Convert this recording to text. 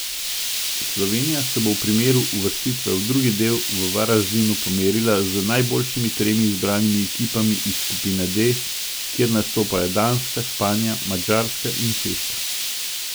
Slovenija se bo v primeru uvrstitve v drugi del v Varaždinu pomerila z najboljšimi tremi izbranimi ekipami iz skupine D, kjer nastopajo Danska, Španija, Madžarska in Češka.